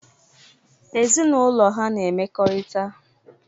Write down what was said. Ezinaụlọ ha na-emekorita.